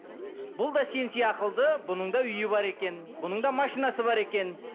бұл да сен бұның да үйі бар екен бұның да машинасы бар екен